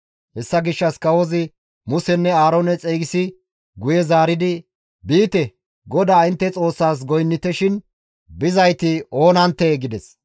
Hessa gishshas kawozi Musenne Aaroone xeygisi guye zaaridi, «Biite; GODAA intte Xoossaas goynnite shin bizayti oonanttee?» gides.